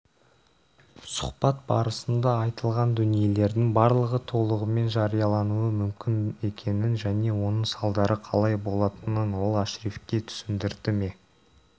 сұхбат барысында айтылған дүниелердің барлығы толығымен жариялануы мүмкін екенін және оның салдары қалай болатынын ол ашрифке түсіндірді ме